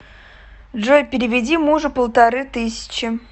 джой переведи мужу полторы тысячи